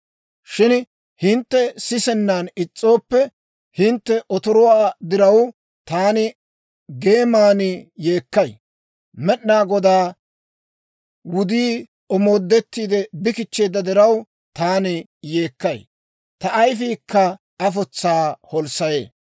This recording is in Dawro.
Shin hintte sisennan is's'ooppe, hintte otoruwaa diraw, taani geeman yeekkay. Med'inaa Godaa wudii omoodettiide bi kichcheedda diraw, taani yeekkay; ta ayifiikka afotsaa holssayee.